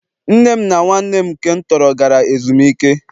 nne m na nwanne m nke m tọrọ gara ezumike